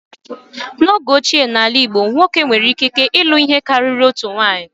N'oge ochie n'ala Igbo, nwoke nwere ikike ilụ ihe karịrị otu nwunye